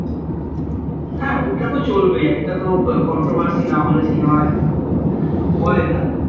হ্যাঁ ওটা তো চলবেই একটা তো controversy না হলে cinema হয় না